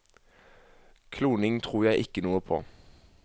Kloning tror jeg ikke noe på.